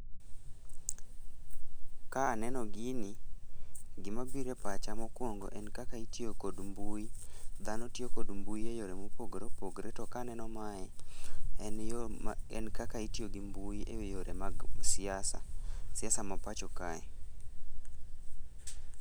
Ka aneno gini, gimabiro e pacha mokwongo en kaka itiyo kod mbui, dhano tiyo gi mbui e yore mopogore opogore to kaneno mae en kaka itiyo gi mbui e yore mag siasa, siasa ma pacho kae.